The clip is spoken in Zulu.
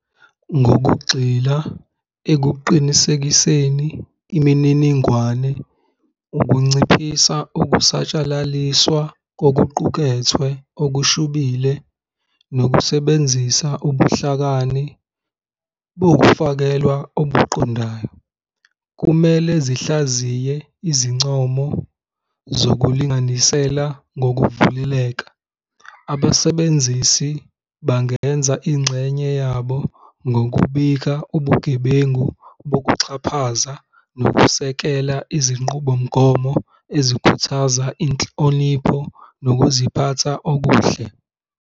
Ngokugxila ekuqinisekiseni imininingwane, ukunciphisa ukusatshalaliswa kokuqukethwe okushubile nokusebenzisa ubuhlakani bokufakelwa okuqondayo, kumele zihlaziye izincomo zokulinganisela ngokuvuleleka. Abasebenzisi bangenza ingxenye yabo ngokubika ubugebengu bokuxhaphaze nokusekela izinqubomgomo ezikhuthaza inhlonipho nokuziphatha okuhle.